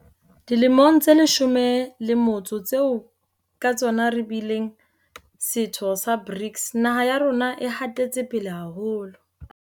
Dilemong tse leshome le motso tseo ka tsona re bileng setho sa BRICS, naha ya rona e hatetse pele haholo.